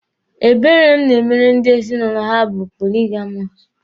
Ebere m na-emere ndị ezinụlọ ha bụ poligamọsụ.